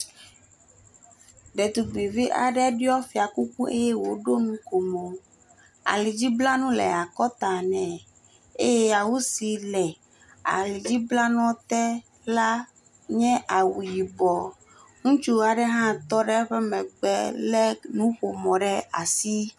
Ɖetugbuivi aɖe le ɖiɔ fiakuku eye wòɖo nukomo, alidz blanu le akɔta nɛ eye awu si le awudzi blanuɔ te la nye awu yibɔ, ŋutsu aɖe hã tɔ ɖe eƒe megbe eye wòlé nuƒomɔ ɖe asi.